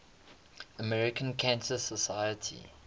american cancer society